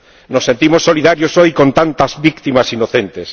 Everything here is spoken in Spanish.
Nos sentimos solidarios hoy con tantas víctimas inocentes.